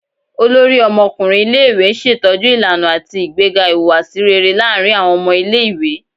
Olórí ọmọkùnrin ilé-ìwé n ṣetọju ìlànà ati ìgbéga ìhùwàsí réré láàrin awọn ọmọ ilé-ìwé